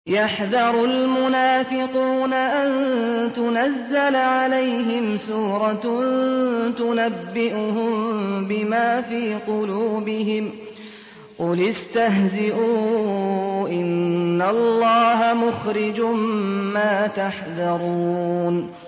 يَحْذَرُ الْمُنَافِقُونَ أَن تُنَزَّلَ عَلَيْهِمْ سُورَةٌ تُنَبِّئُهُم بِمَا فِي قُلُوبِهِمْ ۚ قُلِ اسْتَهْزِئُوا إِنَّ اللَّهَ مُخْرِجٌ مَّا تَحْذَرُونَ